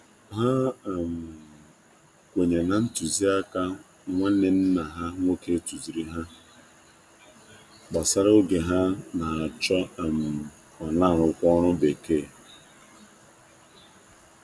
Ha kwenyere na ntuzi aka nwanne nna ha nwoke tuziri ha gbasara oge ha n', acho ma na arukwa oru bekee